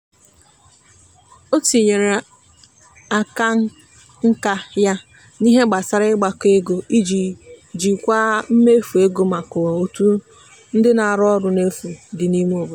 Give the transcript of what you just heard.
o tinyere akanka ya n'ihe gbasara ịgbakọ ego iji jikwaa mmefu ego maka otu ndị na-arụ ọrụ n'efu dị n'ime obodo.